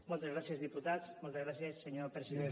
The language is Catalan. moltes gràcies diputats moltes gràcies senyor president